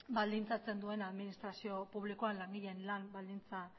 baldintzatzen duena administrazioa publikoan langileen lan baldintza